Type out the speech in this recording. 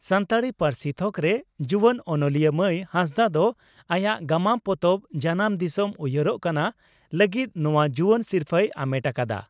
ᱥᱟᱱᱛᱟᱲᱤ ᱯᱟᱹᱨᱥᱤ ᱛᱷᱚᱠᱨᱮ ᱡᱩᱣᱟᱹᱱ ᱚᱱᱚᱞᱤᱭᱟᱹ ᱢᱟᱹᱭ ᱦᱟᱸᱥᱫᱟᱜ ᱫᱚ ᱟᱭᱟᱜ ᱜᱟᱢᱟᱢ ᱯᱚᱛᱚᱵ 'ᱡᱟᱱᱟᱢ ᱫᱤᱥᱚᱢ ᱩᱭᱦᱟᱹᱨᱚᱜ ᱠᱟᱱᱟ' ᱞᱟᱹᱜᱤᱫ ᱱᱚᱣᱟ ᱡᱩᱣᱟᱹᱱ ᱥᱤᱨᱯᱷᱟᱹᱭ ᱟᱢᱮᱴ ᱟᱠᱟᱫᱼᱟ ᱾